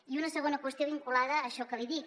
i una segona qüestió vinculada a això que li dic